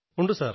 ഉണ്ട് സർ